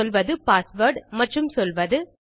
பின் சொல்வது பாஸ்வேர்ட் மற்றும் சொல்வது